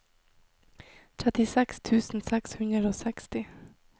trettiseks tusen seks hundre og seksti